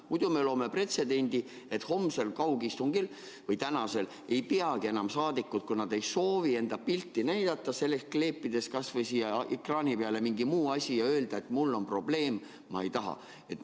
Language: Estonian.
Muidu me loome pretsedendi, et homsel kaugistungil – või tänasel – võivad saadikud, kui nad ei soovi enda pilti näidata, kleepida kas või siia ekraani peale mingi muu asja ja öelda, et mul on probleem, ma ei taha.